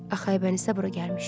Axı Aybəniz də bura gəlmişdi.